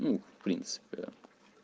ну в принципе